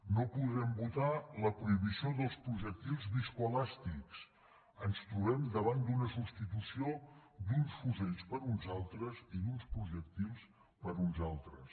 no podrem votar la prohibició dels projectils viscoelàstics ens trobem davant la substitució d’uns fusells per uns altres i d’uns projectils per uns altres